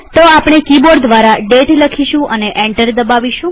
તો આપણે કિબોર્ડ દ્વારા દાતે લખીશું અને એન્ટર દબાવીશું